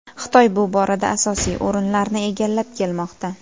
Xitoy bu borada asosiy o‘rinlarni egallab kelmoqda.